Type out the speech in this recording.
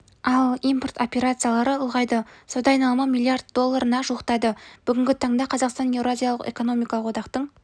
ал импорт операциялары ұлғайды сауда айналымы млрд долларына жуықтады бүгінгі таңда қазақстан еуразиялық экономикалық одақтың